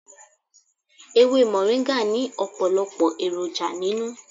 Ewé moringa ni ọpọlọpọ èròjà nínú.